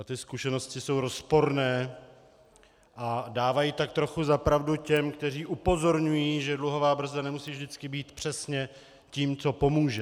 A ty zkušenosti jsou rozporné a dávají tak trochu za pravdu těm, kteří upozorňují, že dluhová brzda nemusí vždycky být přesně tím, co pomůže.